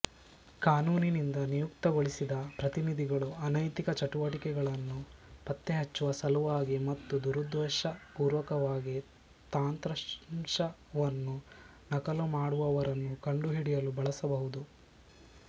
ಕಾನೂನಿನಿಂದ ನಿಯುಕ್ತಿಗೊಳಿಸಿದ ಪ್ರತಿನಿಧಿಗಳು ಅನೈತಿಕ ಚಟುವಟಿಕೆಗಳನ್ನು ಪತ್ತೆಹಚ್ಚುವ ಸಲುವಾಗಿ ಮತ್ತು ದುರುದ್ದೇಶಪೂರ್ವಕವಾಗಿ ತಂತ್ರಾಂಶವನ್ನು ನಕಲು ಮಾಡುವವರನ್ನು ಕಂಡುಹಿಡಿಯಲು ಬಳಸಬಹುದು